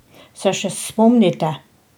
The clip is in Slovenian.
Se še spomnite?